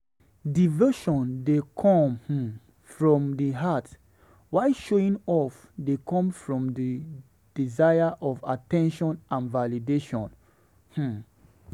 Devotion dey come um from di heart, while showing off dey come from di desire for at ten tion and validation. um